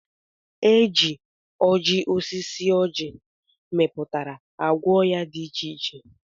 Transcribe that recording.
Eji oji osisi ọji miputara agwọ oya di iche iche.